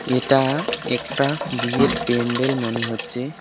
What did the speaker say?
এটা একটা বিয়ের প্যান্ডেল মনে হচ্ছে।